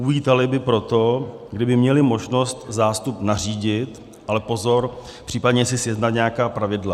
Uvítali by proto, kdyby měli možnost zástup nařídit, ale pozor, případně si sjednat nějaká pravidla.